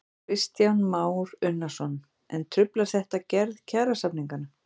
Kristján Már Unnarsson: En truflar þetta gerð kjarasamninganna?